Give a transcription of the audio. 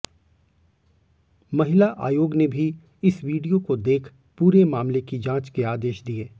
महिला आयोग ने भी इस वीडियो को देख पूरे मामले की जांच के आदेश दिए